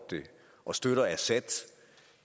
og støtter assad og